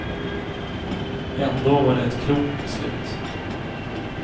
Ändå var det ett klokt beslut.